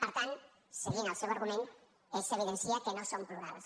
per tant seguint el seu argument s’evidencia que no som plurals